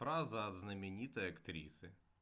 фраза от знаменитой актрисы